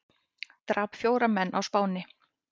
Drap fjóra menn á Spáni